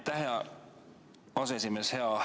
Aitäh, hea aseesimees!